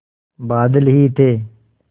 बादल ही थे